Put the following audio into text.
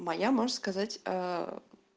моя можешь сказать